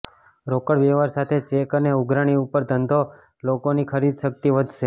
રોકડ વ્યવહાર સાથે ચેક અને ઉઘરાણી ઉપર ધંધો લોકોની ખરીદશક્તિ વધશે